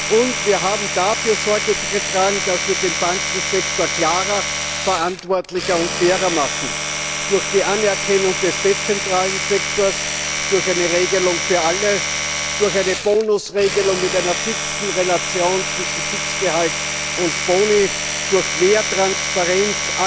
Und wir haben dafür Sorge getragen, dass wir den Bankensektor klarer, verantwortlicher und fairer machen durch die Anerkennung des dezentralen Sektors, durch eine Regelung für alle, durch eine Bonusregelung mit einer fixen Relation zwischen Fixgehalt und Boni, durch mehr Transparenz.